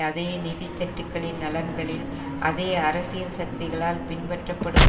அதே நிதித்தட்டுக்களின் நலன்களில் அதே அரசியல் சக்திகளால் பின்னபற்றப்படும்